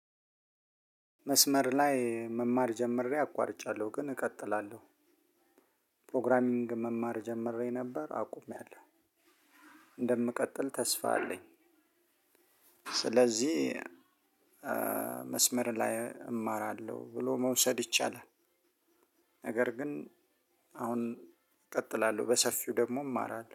መስመር ላይ መማር ጀምሬ አቋርጫለሁ ግን እቀጥላለሁ ፕሮግራሚንግ መማር ጀምሬ ነበር አቁሜያለሁ። እንደምቀጥል ተስፋ አለኝ። ስለዚህ መስመር ላይ እማራለሁ ብሎ መውሰድ ይቻላል። ነገር ግን አሁን እቀጥላለሁ በሰፊው ደግሞ እማራለሁ